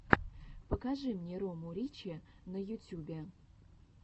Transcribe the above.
покажи мне рому ричи на ютюбе